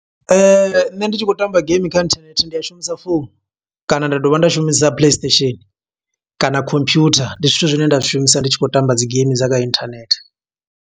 Nṋe ndi tshi khou tamba game kha inthanethe ndi shumisa founu, kana nda dovha nda shumisa play station, kana computer. Ndi zwithu zwine nda zwi shumisa, ndi tshi khou tamba dzi geimi dza kha inthanethe.